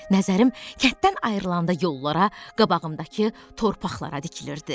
Nəzərim kənddən ayrılanda yollara, qabağımdakı torpaqlara dikilirdi.